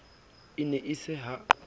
e ne e se ha